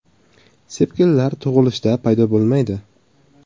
Sepkillar tug‘ilishda paydo bo‘lmaydi.